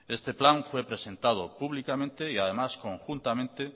este plan fue presentado públicamente y además conjuntamente